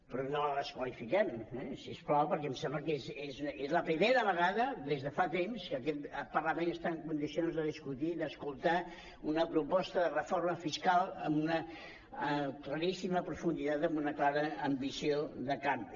però no la desqualifiquem si us plau perquè em sembla que és la primera vegada des de fa temps que aquest parlament està en condicions de discutir d’escoltar una proposta de reforma fiscal amb una claríssima profunditat amb una clara ambició de canvi